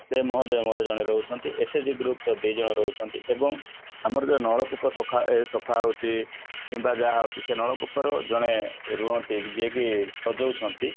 ସେ ମହୋଦୟ ମଧ୍ୟ ରହୁଛନ୍ତି SAG group ର ଦି ଜଣ ରହୁଛନ୍ତି ଏବଂ ଆମର ଯୋଉ ନଳକୂପ ସଫା ହଉଛି କିମ୍ବା ଯାହା ହଉଛି ସେ ନଳକୂପ ର ଜଣେ ରୁହନ୍ତି ଯିଏକି ସଜଉଛନ୍ତି